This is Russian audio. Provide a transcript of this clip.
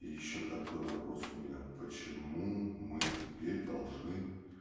и ещё такой вопрос у меня почему мы теперь должны